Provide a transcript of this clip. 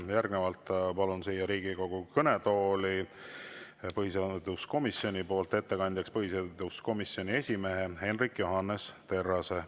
Järgnevalt palun siia Riigikogu kõnetooli põhiseaduskomisjoni nimel ettekandjaks põhiseaduskomisjoni esimehe Hendrik Johannes Terrase.